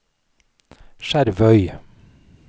Skjervøy